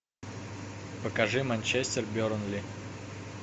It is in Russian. покажи манчестер бернли